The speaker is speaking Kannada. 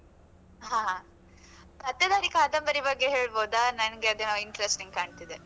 ಹಾ ಹಾ, ಪತ್ತೆದಾರಿ ಕಾದಂಬರಿ ಬಗ್ಗೆ ಹೇಳ್ಬೋದ? ನನ್ಗೆ ಅದೇನೋ interesting ಕಾಣ್ತಿದೆ.